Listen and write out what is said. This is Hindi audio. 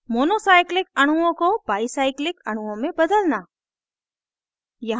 monocyclic अणुओं को बाईcyclic अणुओं में बदलना